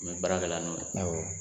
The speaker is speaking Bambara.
N me baara kɛ la n'o ye awɔ.